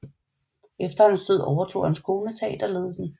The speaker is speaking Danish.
Efter hans død overtog hans kone teaterledelsen